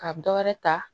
Ka dɔ wɛrɛ ta